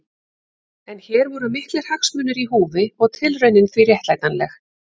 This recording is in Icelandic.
En hér voru miklir hagsmunir í húfi og tilraunin því réttlætanleg.